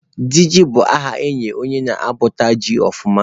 Diji bụ aha a na-enye onye na-akọpụta ji ọfụma